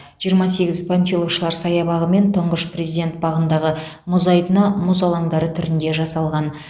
жиырма сегіз панфиловшылар саябағы мен тұңғыш президент бағындағы мұз айдыны мұз алаңдары түрінде жасалған